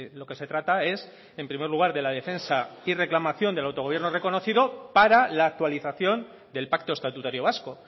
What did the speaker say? lo que se trata es en primer lugar de la defensa y reclamación del autogobierno reconocido para la actualización del pacto estatutario vasco